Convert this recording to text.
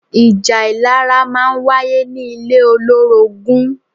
Ìjà ìlara máa ń wáyé ní ilé olórogún